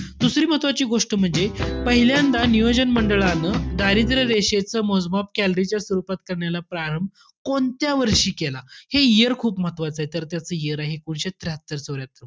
दुसरी महत्वाची गोष्ट म्हणजे पहिल्यांदा नियोजन मंडळानं दारिद्र्य रेषेचं मोजमाप calorie च्या स्वरूपात करण्याला प्रारंभ कोणत्या वर्षी केला? हे year खूप महत्वाचंय. तर त्याचं year आहे, एकोणीसशे त्र्याहत्तर चौर्यात्तर.